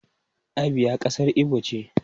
Abia kasar Igbo ce.